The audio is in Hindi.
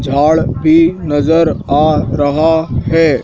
झाड़ भी नजर आ रहा है।